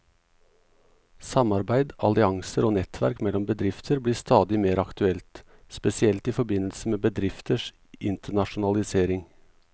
Samarbeid, allianser og nettverk mellom bedrifter blir stadig mer aktuelt, spesielt i forbindelse med bedrifters internasjonalisering.